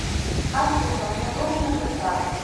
афина мне нужно бежать